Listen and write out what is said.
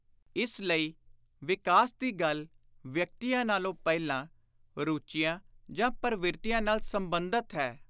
ਇਸ ਲਈ ਵਿਕਾਸ ਦੀ ਗੱਲ ਵਿਅਕਤੀਆਂ ਨਾਲੋਂ ਪਹਿਲਾਂ ਰੁਚੀਆਂ ਜਾਂ ਪਰਵਿਰਤੀਆਂ ਨਾਲ ਸੰਬੰਧਤ ਹੈ।